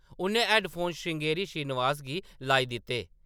उʼन्नै हैड्डफोन श्रृंगेरी श्रीनिवास गी लाई दित्ते।